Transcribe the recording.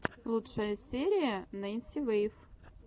лучшая серия ненси вэйв